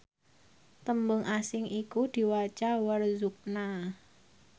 tembung asing iku diwaca warzuqna